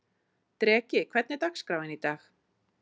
Dreki, hvernig er dagskráin í dag?